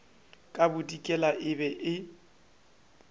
ka bodikela e be e